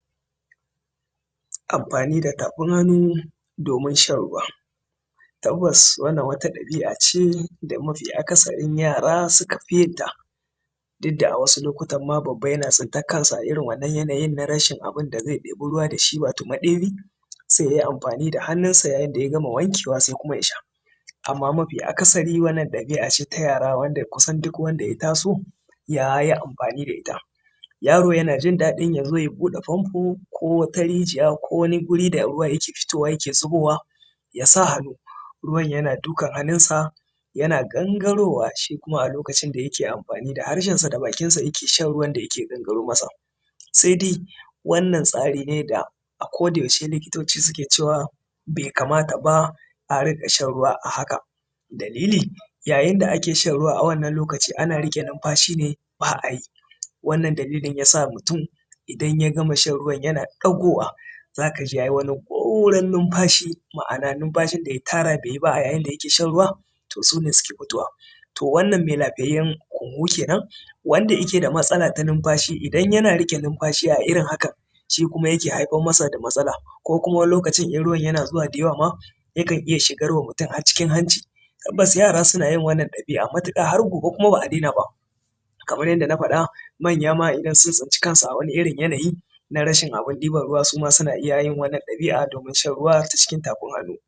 amfani da tafin hannu domin shan ruwa tabbas wannan wata ɗabi'a ce da mafi akasarin yara suka fi yinta duk da a wasu lokutan ma babba yana tsintan kansa a wannan yanayin na rashin abun da zai ɗebi ruwa da shi wato maɗebi sai yayi amfani da hannunsa yayin da ya gama wankewa sai kuma ya sha amman mafi akasari wannan ɗabi'a ce ta yara kusan duk wanda ya taso yayi amfani da ita yaro yana jin daɗi ya zo ya buɗe famfo ko wata rijiya ko wani guri da yake fitowa ya ke fitowa yake zubowa ya sa hannu ruwan yana dukan hannunsa yana gangarowa shi kuma a lokacin da yake amfani da harshensa da bakinsa yake shan ruwan da yake gangaro masa sai dai wannan tsari ne da a koda yaushe likitoci suke cewa bai kamata ba a riƙa shan ruwa a haka dalilin yayin da ake shan ruwa a wannan lokacin ana riƙe numfashi ne ba a yi wannan dalilin ya sa mutum idan ya gama shan ruwan yana ɗagowa za ka ji yayi wani goran numfashi ma’ana numfashi da ya tara bai yi ba a yayin da yake shan ruwa toh su ne suke fitowa to wannan me lafiyayyan hunhun kenan wanda yake da matsala ta numfashi idan yana riƙe numfashi a irin haka shi kuma yake haifar masa da matsala ko kuma wani lokacin in ruwan yana zuwa da yawa mayaƙan iya shigar mutum har cikin hanci tabbas yara suna yi wannan aikin matuƙa kuma har gobe ba su dai na ba kaman yadda na fada manya ma idan sun tsinci kansu a wani irin yanayi na rashin abun ɗiban ruwa suma suna yi wannan ɗabi'a domin shan ruwa ta cikin tafin hannu